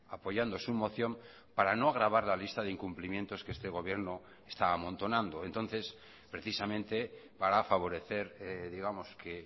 apoyando su moción para no agravar la lista de incumplimientos que este gobierno está amontonando entonces precisamente para favorecer digamos que